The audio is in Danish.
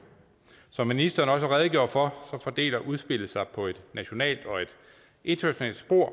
som ministeren også redegjorde for fordeler udspillet sig på et nationalt og et internationalt spor